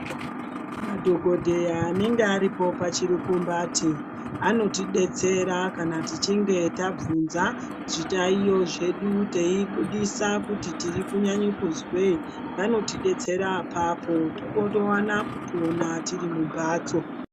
Madhokodheya anenge aripo pachirikumbati anoti detsera kana tichinge tabvunza zvitaiyo zvedu teibudise kuti tiri kunyanye kuzwei, vanotidetsera apapo towana kupona tiri mumbatso.